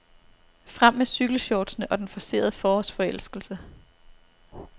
Frem med cykelshortsene og den forcerede forårsforelskelse.